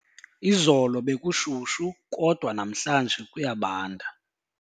Izolo bekushushu kodwa namhlanje kuyabanda.